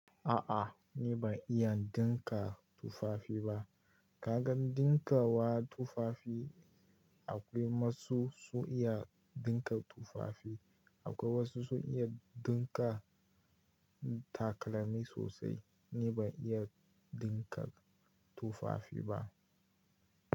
A'a ni ban iya dinka tufafi ba. Ka gan dinkawa tufafi akwai wasu sun iya dinka tufafi, akwai wasu sun iya dinka takalami sosai. Ni ban iya dinka tufafi ba.